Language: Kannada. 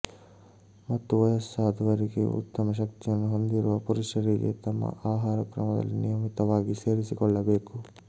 ಮತ್ತು ವಯಸ್ಸಾದವರಿಗೆ ಉತ್ತಮ ಶಕ್ತಿಯನ್ನು ಹೊಂದಿರುವ ಪುರುಷರಿಗೆ ತಮ್ಮ ಆಹಾರಕ್ರಮದಲ್ಲಿ ನಿಯಮಿತವಾಗಿ ಸೇರಿಸಿಕೊಳ್ಳಬೇಕು